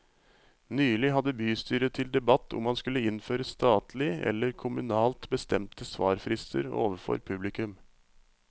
Nylig hadde bystyret til debatt om man skulle innføre statlig eller kommunalt bestemte svarfrister overfor publikum.